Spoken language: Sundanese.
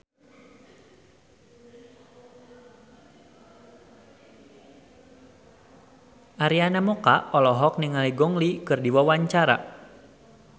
Arina Mocca olohok ningali Gong Li keur diwawancara